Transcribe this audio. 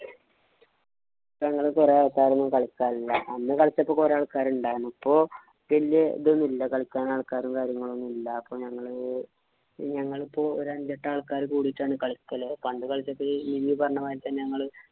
ഇപ്പൊ അങ്ങനെ കൊറേ ആള്‍ക്കാരൊന്നും കളിക്കാനില്ല. അന്ന് കളിച്ചപ്പോ കുറെ ആള്‍ക്കാര് ഉണ്ടാരുന്നു. ഇപ്പൊ വല്യ ഇതൊന്നും ഇല്ല. കളിക്കാന്‍ ആള്‍ക്കാരും, കാര്യങ്ങളും ഒന്നുമില്ല. അപ്പൊ ഞങ്ങള് ഞങ്ങളിപ്പോ ഒരു അഞ്ചെട്ടു ആള്‍ക്കാര് കൂടിട്ടാണ് കളിക്കല്.